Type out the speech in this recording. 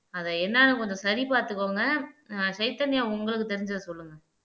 அதை என்னான்னு கொஞ்சம் சரி பார்த்துக்கோங்க உங்களுக்கு ஆஹ் சைதன்யா தெரிஞ்சத சொல்லுங்க